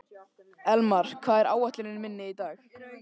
Elmar, hvað er á áætluninni minni í dag?